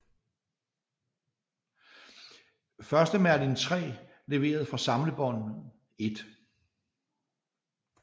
Første Merlin III leveret fra samlebåndet 1